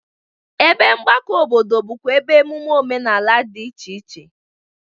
Ebe mgbakọ obodo bụkwa ebe emume omenala dị iche iche.